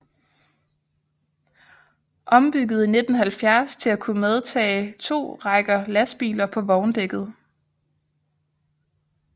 Ombygget i 1970 til at kunne medtage to rækker lastbiler på vogndækket